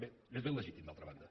bé és ben legítim d’altra banda